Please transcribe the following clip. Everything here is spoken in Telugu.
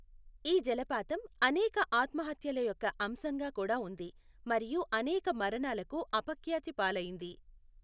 ఈ జలపాతం అనేక ఆత్మహత్యల యొక్క అంశంగా కూడా ఉంది మరియు అనేక మరణాలకు అపఖ్యాతి పాలైంది.